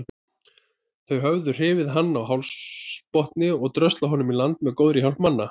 Þau höfðu hrifið hann af hafsbotni og dröslað honum í land með góðra manna hjálp.